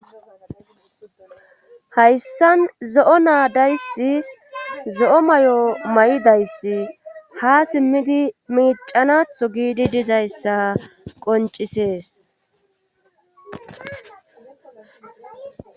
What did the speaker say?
Hayssan zo7o naadayssi zo7o may7o may7idayssi ha simmidi miicanatho giidi dizayssa qoncisees.